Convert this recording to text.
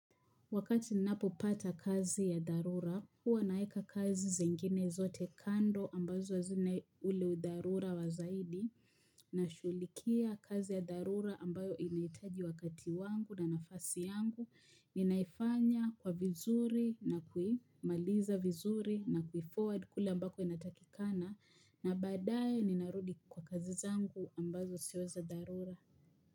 Wakati ninapopata kazi ya dharura, huwa naeka kazi zingine zote kando ambazo hazina ule udharura wa zaidi. Nashughulikia kazi ya dharura ambayo inahitaji wakati wangu na nafasi yangu. Ninaifanya kwa vizuri na kuimaliza vizuri na kufoward kule ambako inatakikana. Na baadaye ninarudi kwa kazi zangu ambazo sio za dharura.